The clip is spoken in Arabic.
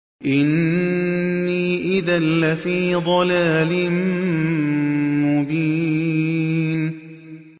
إِنِّي إِذًا لَّفِي ضَلَالٍ مُّبِينٍ